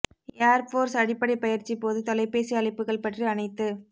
ஏர் force அடிப்படை பயிற்சி போது தொலைபேசி அழைப்புகள் பற்றி அனைத்து